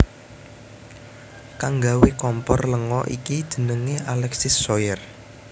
Kang nggawé kompor lenga iki jenengé Alexis Soyer